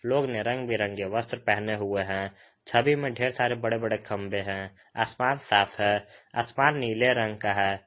लोग ने रंग बिरंगे वस्त्र पहने हुए हैं छवि में ढेर सारे बड़े बड़े खंबे हैं आसमान साफ है आसमान नीले रंग का है।